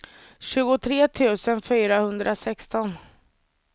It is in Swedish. tjugotre tusen fyrahundrasexton